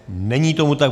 Není tomu tak.